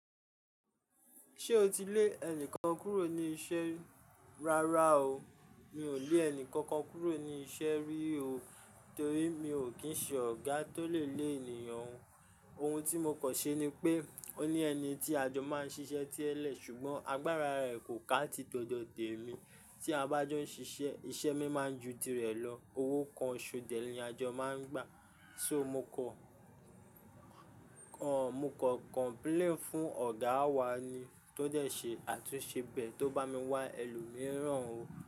Ṣé o ti lé ẹnìkan kúrò ní iṣẹ́ rárá o, mi ò lé ẹnìkankan kúrò ní iṣẹ́ rí o, torí mi ò kí ń ṣe ọ̀gá tó lè lé ènìyàn. Ohun tí mo kàn ṣe ni pé, ó ní ẹni tí àjọ máa ń ṣiṣẹ́ tẹlẹ̀ sùgbọ́n agbára rẹ̀ kò ká ti tọdọ tèmi. Tí a bá jọ ń ṣiṣẹ́, iṣẹ́ mi máa ń ju ti rẹ̀ lọ, owó kan ṣo dẹ̀ ní àjọ máa ń gbà. So mo kọ, kọ, mo kọ complaint fún ọ̀gá wa ni, tó dẹ̀ ṣe àtúnṣe bẹ̀ tó bá mi wá ẹlòmíràn o.